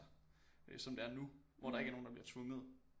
Øh som det er nu hvor der ikke er nogen der bliver tvunget